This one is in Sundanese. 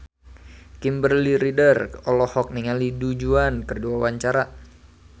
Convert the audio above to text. Kimberly Ryder olohok ningali Du Juan keur diwawancara